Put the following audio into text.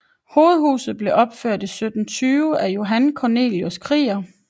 Hovedhuset blev opført i 1720 af Johan Cornelius Krieger